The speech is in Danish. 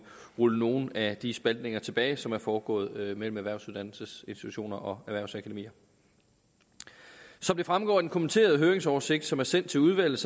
rulle nogle af de spaltninger tilbage som er foregået mellem erhvervsuddannelsesinstitutioner og erhvervsakademier som det fremgår af den kommenterede høringsoversigt som er sendt til udvalget